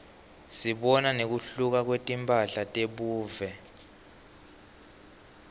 sibona nekuhluka kwetimphahla tebuve